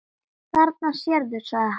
Þarna sérðu, sagði hann.